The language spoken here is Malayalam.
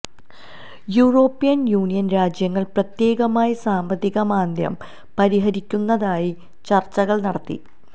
യൂറോപ്യന് യൂണിയന് രാജ്യങ്ങള് പ്രത്യേകമായി സാമ്പത്തിക മാന്ദ്യം പരിഹരിക്കുന്നതിനായി ചര്ച്ചകള് നടത്തി